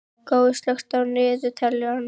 Gói, slökktu á niðurteljaranum.